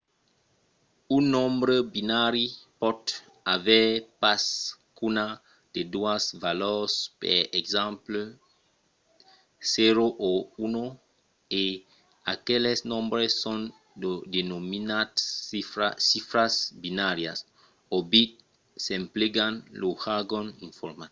un nombre binari pòt aver pas qu’una de doas valors per exemple 0 o 1 e aqueles nombres son denominats chifras binàrias - o bits s'emplegam lo jargon informatic